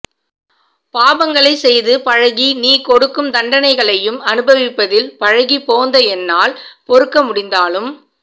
பாபங்களை செய்து பழகி நீ கொடுக்கும் தண்டைகளையும் அனுபவிப்பதில் பழகிப் போந்த என்னால் பொறுக்க முடிந்தாலும்